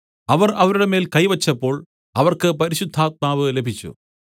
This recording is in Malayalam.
അവർ അവരുടെ മേൽ കൈ വെച്ചപ്പോൾ അവർക്ക് പരിശുദ്ധാത്മാവ് ലഭിച്ചു